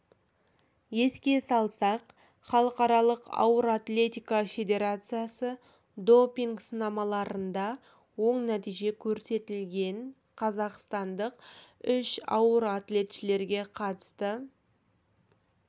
еске салсақ халықаралық ауыр атлетика федерациясы допинг сынамаларында оң нәтиже көрсетілген қазақстандық үш ауыр атлетшілерге қатысты